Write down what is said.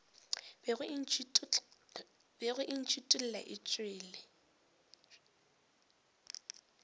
bego e ntšhithola e tšwela